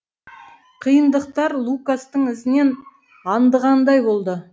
қиындықтар лукастың ізінен аңдығандай болды